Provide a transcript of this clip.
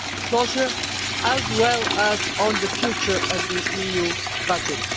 closure, as well as on the future of the EU budget.